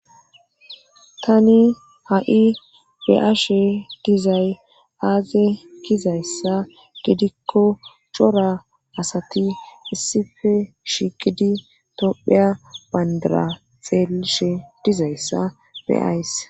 Tani ha"i be7ashe dizay aaze gizayssa gidikko cora asati issife shiqidi topheya bandara xeelishe dizayssa beays